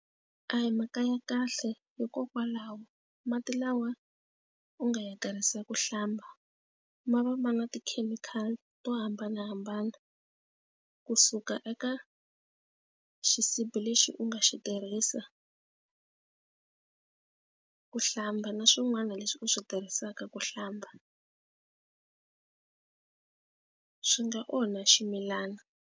A hi mhaka ya kahle hikokwalaho mati lawa u nga ya tsarisiwa ku hlamba ma va ma na tikhemikhali to hambanahambana kusuka eka xisibi lexi u nga xi tirhisa ku hlamba na swin'wana leswi u swi tirhisaka ku hlamba swi nga onha ximilana.